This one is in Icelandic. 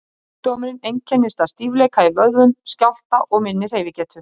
Sjúkdómurinn einkennist af stífleika í vöðvum, skjálfta og minni hreyfigetu.